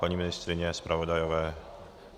Paní ministryně, zpravodajové?